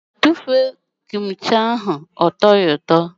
Tụfuo Kim chi ahụ pụọ! Ọ tọghi ụtọ.